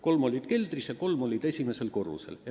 Kolm olid keldris ja kolm olid esimesel korrusel.